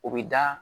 O bɛ da